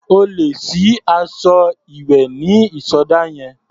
O lè sí aṣọ ìwẹ̀ ní ìsọdá yẹn.